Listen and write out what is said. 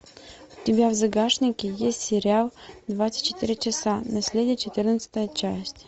у тебя в загашнике есть сериал двадцать четыре часа наследие четырнадцатая часть